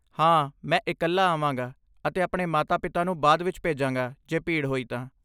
ਹਾਂ, ਮੈਂ ਇਕੱਲਾ ਆਵਾਂਗਾ ਅਤੇ ਆਪਣੇ ਮਾਤਾ ਪਿਤਾ ਨੂੰ ਬਾਅਦ ਵਿੱਚ ਭੇਜਾਂਗਾ ਜੇ ਭੀੜ ਹੋਈ ਤਾਂ